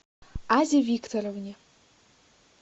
азе викторовне